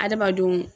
Adamadenw